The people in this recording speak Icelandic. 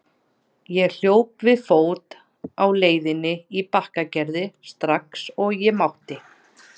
Ég hljóp við fót á leiðinni í Bakkagerði strax og ég mátti.